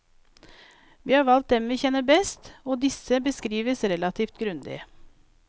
Vi har valgt dem vi kjenner best, og disse beskrives relativt grundig.